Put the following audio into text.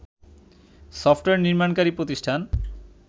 software নির্মাণকারী প্রতিষ্ঠান